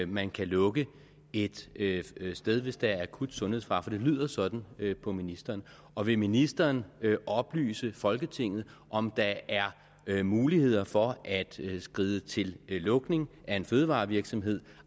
man kan lukke et sted hvis der er akut sundhedsfare for det lyder sådan på ministeren og vil ministeren oplyse folketinget om der er muligheder for at skride til lukning af en fødevarevirksomhed